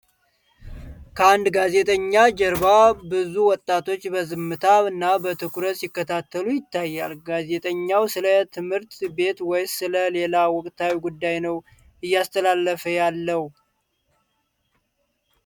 ከአንድ ጋዜጠኛ ጀርባ ብዙ ወጣቶች በዝምታና በትኩረት ሲከታተሉ ይታያል። ጋዜጠኛው ስለ ትምህርት ቤት ወይስ ስለ ሌላ ወቅታዊ ጉዳይ ነው እያስተላለፈ ያለው?